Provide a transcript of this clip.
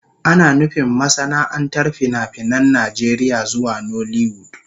Ana nufin masana'antar fina-finan Najeriya zuwa nollywood.